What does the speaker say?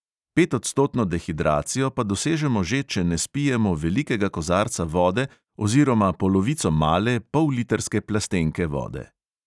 Petodstotno dehidracijo pa dosežemo že, če ne spijemo velikega kozarca vode oziroma polovico male, pollitrske plastenke vode.